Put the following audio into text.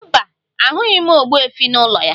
Mba, ahụghị m ogbuefi n'ụlọ ya